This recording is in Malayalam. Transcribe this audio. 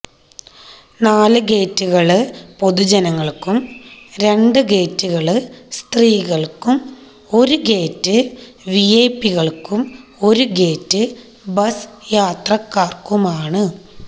നാല് ഗേറ്റുകള് പൊതു ജനങ്ങള്ക്കും രണ്ട് ഗേറ്റുകള് സ്ത്രീകള്ക്കും ഒരു ഗേറ്റ് വിഐപികള്ക്കും ഒരു ഗേറ്റ് ബസ്സ് യാത്രക്കാര്ക്കുമാണ്